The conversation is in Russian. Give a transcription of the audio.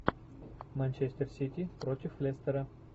манчестер сити против лестера